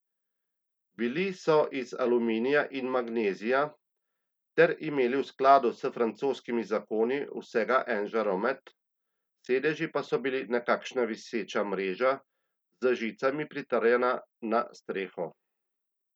Bili so iz aluminija in magnezija ter imeli v skladu s francoskimi zakoni vsega en žaromet, sedeži pa so bili nekakšna viseča mreža, z žicami pritrjena na streho.